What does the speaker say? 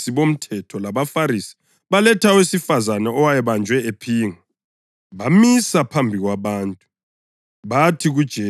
Abafundisi bomthetho labaFarisi baletha owesifazane owayebanjwe ephinga. Bamisa phambi kwabantu